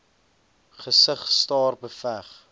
gesig staar beveg